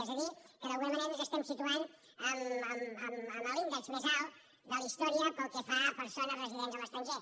és a dir que d’alguna manera ens estem situant en l’índex més alt de la història pel que fa a persones residents a l’estranger